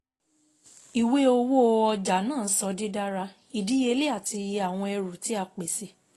Ìwé owó ọjà naa sọ didara, idiyele ati iye awọn ẹru ti a pese